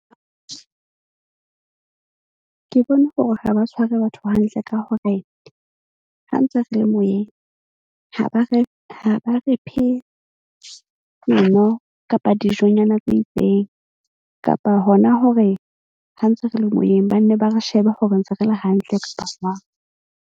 Ke bona hore ha ba tshware batho hantle ka hore ha ntse re le moyeng, ha ba re phe dino kapa dijonyana tse itseng, kapa hona hore ha ntse re le moyeng, ba nne ba re shebe hore ntse re le hantle kapa jwang.